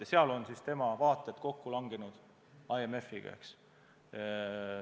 Ja selles on tema vaated kokku langenud IMF-iga.